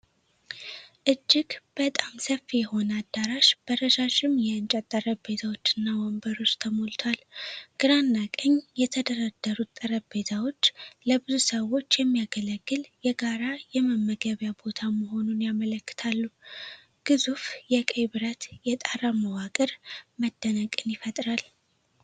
እጅግ በጣም ሰፊ የሆነ አዳራሽ በረዣዥም የእንጨት ጠረጴዛዎች እና ወንበሮች ተሞልቷል። ግራና ቀኝ የተደረደሩት ጠረጴዛዎች ለብዙ ሰዎች የሚያገለግል የጋራ የመመገቢያ ቦታ መሆኑን ያመለክታሉ፤ ግዙፉ የቀይ ብረት የጣራ መዋቅር መደነቅን ይፈጥራል።